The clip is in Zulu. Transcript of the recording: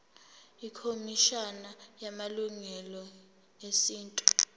ikhomishana yamalungelo esintu